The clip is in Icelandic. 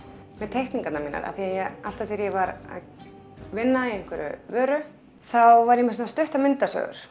teikningarnar mínar af því alltaf þegar ég var að vinna í einhverri vöru þá var ég með svona stuttar myndasögur